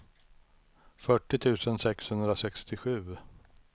fyrtio tusen sexhundrasextiosju